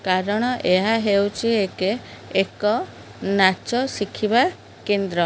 କାରଣ ହେଉଚି ଏକେ ଏକ ନାଚ ଶିଖିବା କେନ୍ଦ୍ର।